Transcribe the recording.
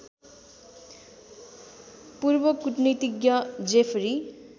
पूर्व कूटनीतिज्ञ जेफरी